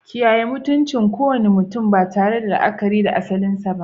Kiyaye mutuncin kowane mutum ba tare da la'akari da asalinsa ba.